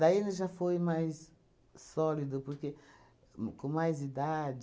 Daí ele já foi mais sólido, porque com mais idade,